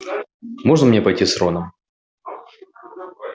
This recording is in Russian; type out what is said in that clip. можно мне пойти с роном